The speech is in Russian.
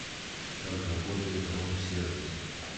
как работает рум сервис